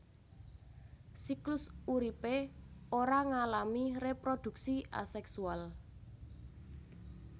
Siklus uripé ora ngalami reproduksi aseksual